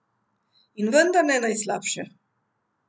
In vendar ne najslabše.